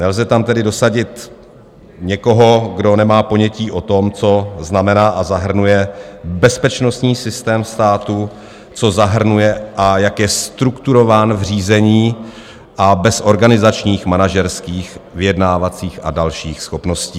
Nelze tam tedy dosadit někoho, kdo nemá ponětí o tom, co znamená a zahrnuje bezpečnostní systém státu, co zahrnuje a jak je strukturován v řízení a bez organizačních, manažerských, vyjednávacích a dalších schopností.